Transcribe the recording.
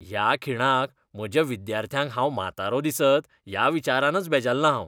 ह्या खिणाक, म्हज्या विद्यार्थ्यांक हांव म्हातारो दिसत ह्या विचारानच बेजारलां हांव.